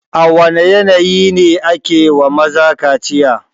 A wane yanayi ne ake wa maza kaciya?